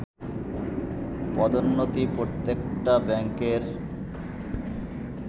পদোন্নতি প্রত্যেকটা ব্যাংকের